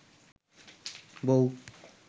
বউ